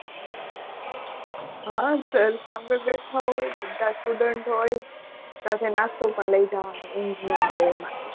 હા સર સામે બેઠા હોય. બધા student હોય. સાથે નાસ્તો પણ લઈ જવાનો ઊંઘ ન આવે એ માટે.